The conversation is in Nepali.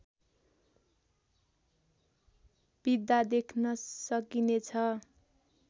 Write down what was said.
बित्दा देख्न सकिने छ